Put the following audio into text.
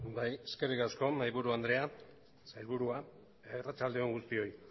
bai eskerrik asko mahaiburu andrea sailburuak arratsalde on guztioi